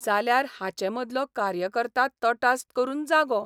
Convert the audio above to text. जाल्यार हाचे मदलो कार्यकर्ता तटास करून जागो.